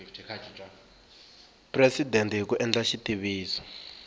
presidente hi ku endla xitiviso